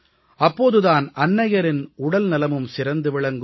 அப்போது தான் அன்னையரின் உடல்நலமும் சிறந்து விளங்கும்